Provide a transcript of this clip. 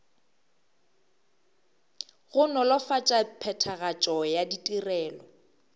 go nolofatša phethagatšo ya ditirelo